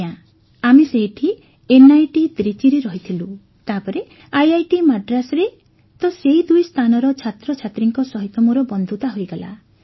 ଆଜ୍ଞା ଆମେ ସେଇଠି ଏନ୍ଆଇଟି ତ୍ରିଚିରେ ରହିଥିଲୁ ତାପରେ ଆଇଆଇଟି ମାଡ୍ରାସରେ ତ ସେଇ ଦୁଇ ସ୍ଥାନର ଛାତ୍ରଛାତ୍ରୀଙ୍କ ସହିତ ମୋର ବନ୍ଧୁତା ହୋଇଗଲା